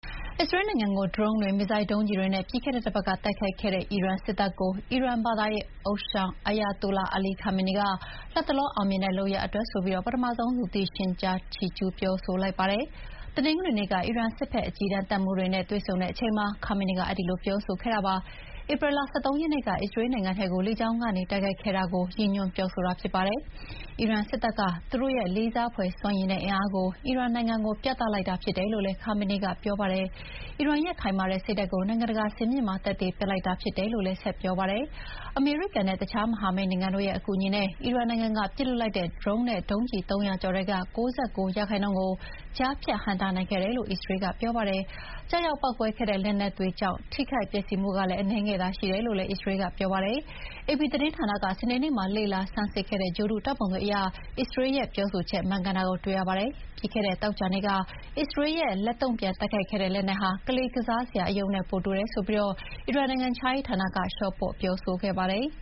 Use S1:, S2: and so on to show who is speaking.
S1: အစ္စရေးလ်နိုင်ငံကိုဒရုန်းတွေ မစ်ဇိုင်းဒုံးကျည်တွေနဲ့ ပြီးခဲ့တဲ့တပတ်က တိုက်ခိုက်ခဲ့တဲ့ အီရန်စစ်တပ်ကို အီရန်ဘာသာရေးဥသျှောင် Ayatollah Ali Khamenei က”လတ်တလောအောင်မြင်တဲ့လုပ်ရပ်" အတွက် ပထမဆုံး လူသိရှင်ကြားချီးကျူးပြောဆိုလိုက်ပါတယ်။ တနင်္ဂနွေနေ့က အီရန်စစ်ဘက် အကြီးတန်းတပ်မှူးတွေနဲ တွေ့ဆုံတဲ့အချိန်မှာ ခါမေနီက အဲဒီလိုပြောဆိုခဲ့တာပါ။ ဧပြီလ ၁၃ ရက်နေ့က အစ္စရေးလ်နိုင်ငံထဲ လေကြောင်းကနေတိုက်ခိုက်ခဲ့တာကို ရည်ညွှန်းပြောဆိုတာဖြစ်ပါတယ်။ အီရန်စစ်တပ်က သူတို့ရဲ့လေးစားဖွယ်စွမ်းရည်နဲ့အင်အားကို အီရန်နိုင်ငံကိုပြသလိုက်တာဖြစ်တယ်လို့လည်း ခါမေနီက ပြောပါတယ်။ အီရန်ရဲ့ခိုင်မာတဲ့စိတ်ဓာတ်ကို နိုင်ငံတကာစင်မြင့်မှာ သက်သေပြသလိုက်တာဖြစ်တယ်လို့လည်း ပြောပါတယ်။ အမေရိကန်နဲ့ အခြားမဟာမိတ်နိုင်ငံတို့ရဲ့ အကူအညီနဲ့ အီရန်နိုင်ငံက ပစ်လွှတ်လိုက်တဲ့ဒရုန်းနဲ့ ဒုံးကျည် ၃၀၀ ကျော်ထဲက ၉၉ ရာခိုင်နှုန်းကို ကြားဖြတ်ဟန့်တားခဲ့တယ်လို့ အစ္စရေးက ပြောပါတယ်။ကျရောက်ပေါက်ကွဲခဲ့တဲ့လက်နက်တွေကြောင့် ထိခိုက်ပျက်စီးမှုအနည်းငယ်သာရှိတယ်လို့လည်း အစ္စရေလ်းက ပြောပါတယ်။ အေပီသတင်းဌာနက စနေနေ့မှာ လေ့လာဆန်းစစ်ခဲ့တဲ့ ဂြိုဟ်တုဓာတ်ပုံအရ အစ္စရေးလ်ရဲ့ ပြောဆိုချက်မှန်ကန်တာကိုတွေ့ရပါတယ်။ ပြီးခဲ့တဲ့သောကြာနေ့က အစ္စရေလ်းရဲ့လက်တုံ့ပြန်တိုက်ခိုက်ခဲ့တဲ့လက်နက်ဟာ ကလေးကစားစရာအရုပ်နဲ့ ပိုတူတယ်ဆိုပြီး အီရန်နိုင်ငံခြားရေးဌာနက လျှော့ပေါ့ပြောဆို
S2: ခဲ့ပါတယ်။